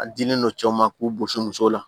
A dilen no cɛw ma k'u gosi musow la